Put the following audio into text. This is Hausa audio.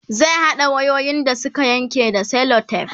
zai haɗa wayoyin da Suka Yanke da selotef